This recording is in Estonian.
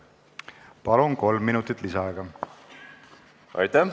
Palun, kolm minutit lisaaega!